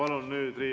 Aitäh!